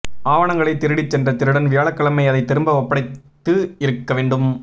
ஆவணங்களை திருடி சென்ற திருடன் வியாழக்கிழமை அதை திரும்ப ஒப்படைத்து இருக்க வேண்டும்